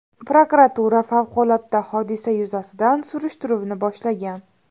Prokuratura favqulodda hodisa yuzasidan surishtiruvni boshlagan.